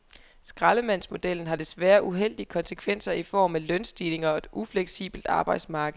Skraldemandsmodellen har desværre uheldige konsekvenser i form af lønstigninger og et ufleksibelt arbejdsmarked.